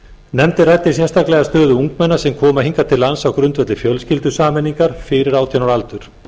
nefndin ræddi sérstaklega stöðu ungmenna sem koma hingað til lands á grundvelli fjölskyldusameiningar fyrir átján ára aldur